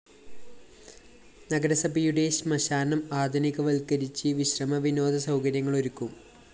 നഗരസഭയുടെ ശ്മശാനം ആധുനിക വല്‍ക്കരിച്ച് വിശ്രമ വിനോദ സൗകര്യങ്ങള്‍ ഒരുക്കും